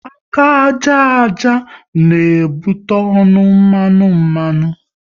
Aka àjà àjà n'ebute ọnụ mmanụ mmanụ